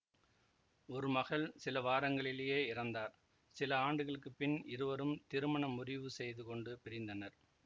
ஒரு மகள் சில வாரங்களிலேயே இறந்தார் சில ஆண்டுகளுக்கு பின் இருவரும் திருமண முறிவு செய்து கொண்டு பிரிந்தனர்